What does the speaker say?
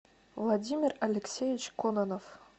владимир алексеевич конанов